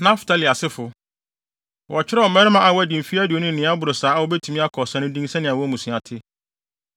Naftali asefo: Wɔkyerɛw mmarima a wɔadi mfe aduonu ne nea ɛboro saa a wobetumi akɔ ɔsa no din sɛnea wɔn mmusua te.